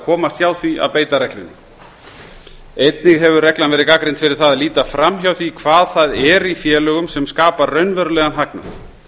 komast hjá því að beita reglunni einnig hefur reglan verið gagnrýnd fyrir það að líta fram hjá því hvað það er í félögum sem skapar raunverulegan hagnað